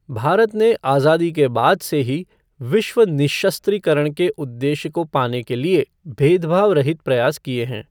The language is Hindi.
भारत ने आजादी के बाद से ही विश्व निःशस्त्रीकरण के उद्देश्य को पाने के लिए भेदभाव रहित प्रयास किए हैं।